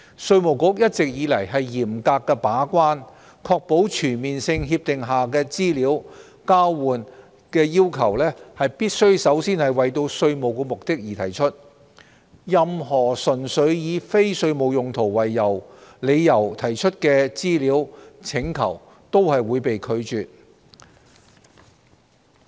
稅務局一直以來嚴格把關，確保全面性協定下的資料交換要求必須首先為稅務目的而提出，任何純粹以非稅務用途為理由提出的資料請求均會被拒絕。